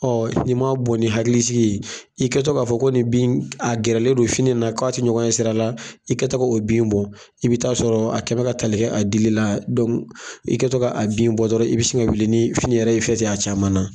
Ɔ n'i m'a bon ni hakilisigi ye, i kɛ to k'a fɔ ko ni bin in, a gɛrɛlen don fini na, k'a tɛ ɲɔgɔn ɲɛ sira la, i kɛ tɔ k'o bin bɔ, i bɛ ta' sɔrɔ a kɛɛmɛ ka ta a dili ladon i ka tɔ k'a bin bɔ dɔrɔn, i bɛ se ka wuli ni fini yɛrɛ ye i fɛ ten, a caman na.